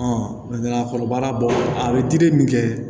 a kɔnɔbara bɔ a bɛ dili min kɛ